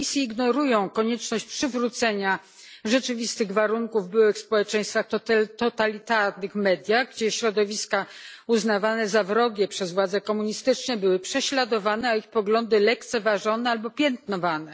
Zapisy ignorują konieczność przywrócenia rzeczywistych warunków w byłych społeczeństwach, w totalitarnych mediach, gdzie środowiska uznawane za wrogie przez władze komunistyczne były prześladowane, a ich poglądy lekceważone albo piętnowane.